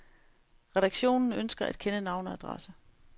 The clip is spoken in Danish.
Redaktionen ønsker at kende navn og adresse.